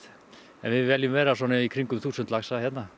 en við viljum vera svona í kringum þúsund laxa hérna